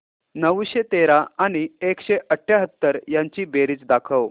नऊशे तेरा आणि एकशे अठयाहत्तर यांची बेरीज दाखव